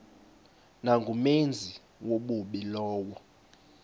nangumenzi wobubi lowo